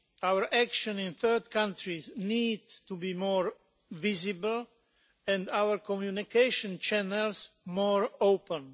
Our action in third countries needs to be more visible, and our communication channels more open.